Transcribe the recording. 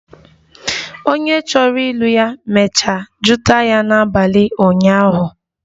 Onye chọrọ ịlụ ya mecha jụta ya n'abali ụnyahụ